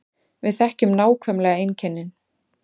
Við þekkjum nákvæmlega einkennin